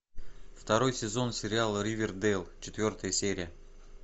второй сезон сериала ривердейл четвертая серия